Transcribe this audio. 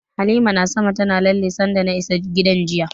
Halima na sama tana lalle sanda na isa gidan jiya.